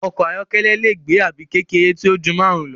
Ọkọ̀ ayọ́kẹ́lẹ́ lẹ gbé àbí kékeré tíó jù márùn lọ.